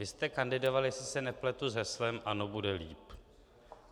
Vy jste kandidovali, jestli se nepletu, s heslem: Ano, bude líp!